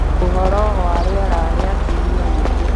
Ũhoro wa rĩera rĩa kiumia gĩkĩ